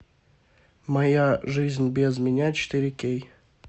моя жизнь без меня четыре кей